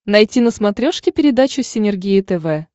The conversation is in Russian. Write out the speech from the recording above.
найти на смотрешке передачу синергия тв